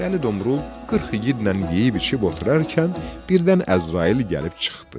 Dəli Domrul 40 igidlə yeyib-içib oturarkən, birdən Əzrail gəlib çıxdı.